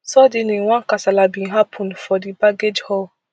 suddenly one kasala bin happun for di baggage hall